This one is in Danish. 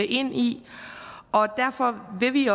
ind i og derfor vil vi